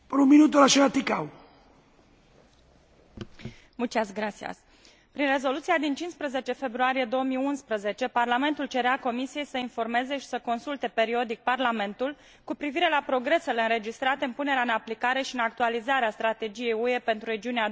Prin Rezoluția din 15 februarie 2011, Parlamentul cerea Comisiei să informeze și să consulte periodic Parlamentul cu privire la progresele înregistrate în punerea în aplicare și în actualizarea Strategiei UE pentru regiunea Dunării, precum și a proiectelor finanțate de Uniune în legătură cu regiunea Dunării.